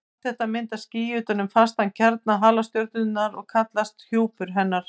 Allt þetta myndar ský utan um fastan kjarna halastjörnunnar og kallast það hjúpur hennar.